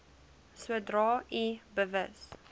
sodra u bewus